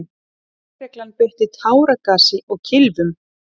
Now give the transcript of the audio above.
Lögregla beitti táragasi og kylfum.